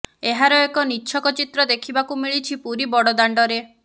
ଏହାର ଏକ ନିଚ୍ଛକ ଚିତ୍ର ଦେଖିବାକୁ ମିଳିଛି ପୁରୀ ବଡ଼ଦାଣ୍ଡରେ